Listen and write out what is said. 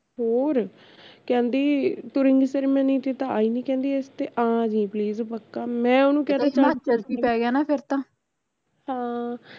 ਹੋਰ ਕਹਿੰਦੀ ਤੂੰ ring ceremony ਤੇ ਤਾਂ ਆਈ ਨਹੀਂ ਇਸਤੇ ਆਜੀ please ਪੱਕਾ ਮੈਂ ਓਹਨੂੰ ਕਹਿਤਾ ਚੱਲ ਹਾਂ